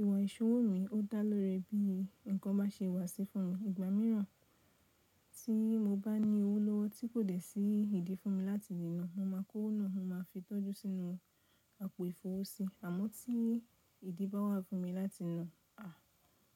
Ìwà ìṣowó mi ó dá ló ri bí ǹkan bá ṣe wà sí fún mi. Ìgbà mìíràn tí mo bá ní owó lọ́wọ́ tí kò dẹ̀ sí ìdí fún mi láti níná, mo máa kó náà mo máa fi tọ́jú sínú àpò ìfowó si. Àmọ́ tí ìdí bá wà fún mi láti ná, à,